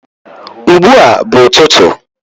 ugbua bu ututu